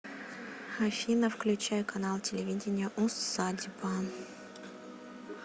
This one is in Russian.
афина включай канал телевидения усадьба